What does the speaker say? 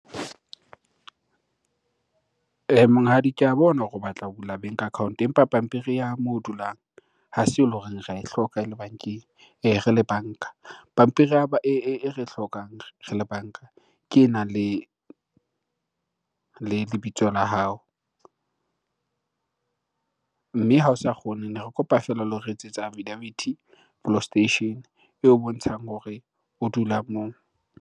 Monghadi, ke a bona hore o batla ho bula bank account empa pampiri ya moo o dulang ha se eleng horeng re ae hloka e le bankeng re le banka. Pampiri ya e re e hlokang re le banka, ke enang le lebitso la hao. Mme ha o sa kgone, ne re kopa fela lo re etsetsa affidaviti police station eo bontshang hore o dula moo.